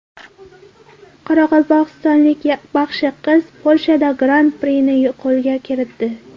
Qoraqalpog‘istonlik baxshi qiz Polshada gran-prini qo‘lga kiritdi.